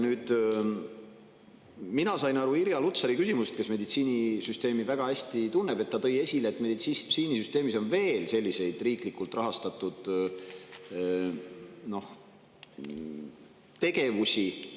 Mina sain Irja Lutsari küsimust aru – ta tunneb meditsiinisüsteemi väga hästi –, et meditsiinisüsteemis on veel teisigi selliseid riiklikult rahastatud tegevusi.